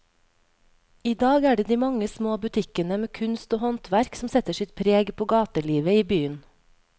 I dag er det de mange små butikkene med kunst og håndverk som setter sitt preg på gatelivet i byen.